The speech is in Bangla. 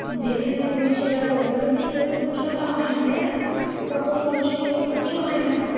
দিয়ে তুমি সেটা করো তাহলে তো এই পরিবেশ দূষণ টা হয় না তাইনা? বা কোনও মানুষের কোনও ক্ষতি ও হয়না।